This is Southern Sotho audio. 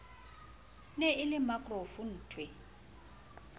ne e le makaroff nthwe